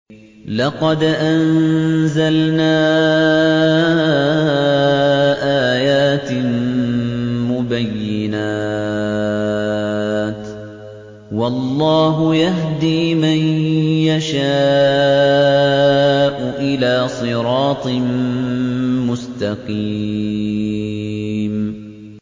لَّقَدْ أَنزَلْنَا آيَاتٍ مُّبَيِّنَاتٍ ۚ وَاللَّهُ يَهْدِي مَن يَشَاءُ إِلَىٰ صِرَاطٍ مُّسْتَقِيمٍ